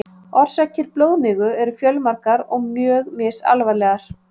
Orsakir blóðmigu eru fjölmargar og mjög misalvarlegar.